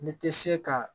N'i te se kaa